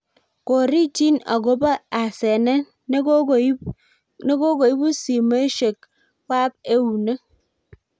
korichin akobo asenet nekokoibu simeshek wab eunek